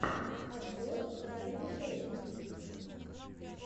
обзор райди шейха